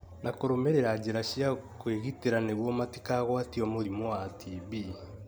na kũrũmĩrĩra njĩra cia kwĩgitĩra nĩguo matikagwatio mũrimũ wa TB.